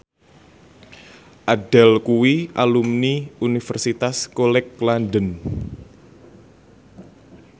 Adele kuwi alumni Universitas College London